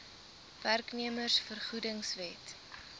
werknemers vergoedings wet